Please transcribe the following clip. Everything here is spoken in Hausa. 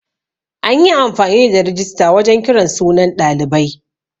An yi amfani da rijista wajan kiran sunan ɗalibai.